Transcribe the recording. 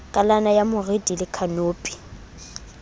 kalana ya moriti le khanopi